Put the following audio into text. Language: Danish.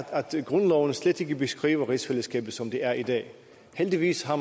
grundloven slet ikke beskriver rigsfællesskabet som det er i dag heldigvis har